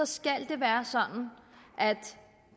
skal det være sådan at